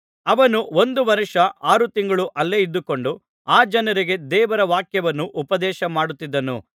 ಅವನು ಒಂದು ವರ್ಷ ಆರು ತಿಂಗಳು ಅಲ್ಲೇ ಇದ್ದುಕೊಂಡು ಆ ಜನರಿಗೆ ದೇವರ ವಾಕ್ಯವನ್ನು ಉಪದೇಶಮಾಡುತ್ತಿದ್ದನು